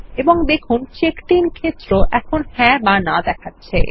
এবং দেখুনCheckedIn ক্ষেত্র যাহ্যাঁ অথবা না দেখাচ্ছে